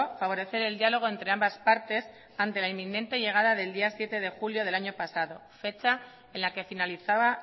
favorecer el diálogo entre ambas partes ante la inminente llegada del día siete de julio del año pasado fecha en la que finalizaba